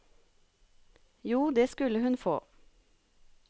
Jo, det skulle hun få.